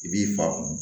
I b'i fa kun